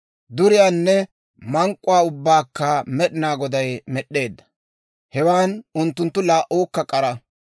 Duriyaanne mank'k'uwaa ubbaakka Med'inaa Goday med'd'eedda; hewan unttunttu laa"uukka k'ara.